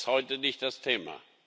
Aber das ist heute nicht das Thema.